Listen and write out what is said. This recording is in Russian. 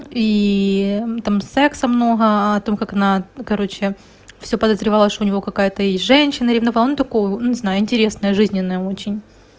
ии там секса много о том как на ну короче всё подозревала что у него какая-то есть женщина ревновала но такое во ну не знаю интересная жизненная очень